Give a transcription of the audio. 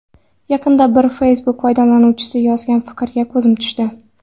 Yaqinda bir Facebook foydalanuvchisi yozgan fikrga ko‘zim tushdi.